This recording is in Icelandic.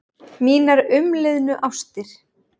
Mínar umliðnu ástir